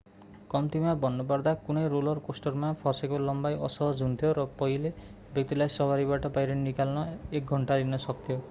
कम्तिमा भन्नुपर्दा कुनै रोलर कोस्टरमा फसेको लम्बाई असहज हुन्थ्यो र पहिलो व्यक्तिलाई सवारीबाट बाहिर निकाल्न एक घन्टा लिन सक्थ्यो